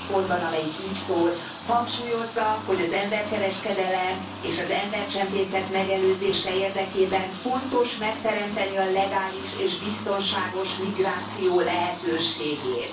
20. pontban, amelyik így szól hangsúlyozza, hogy az emberkereskedelem és az embercsempészet megelőzése érdekében fontos megteremteni a legális és biztonságos migráció lehetőségét.